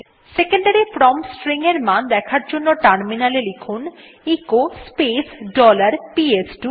secondary value command prompt এর মান দেখার জন্য টার্মিনালে এ লিখুন এচো স্পেস ডলার পিএস2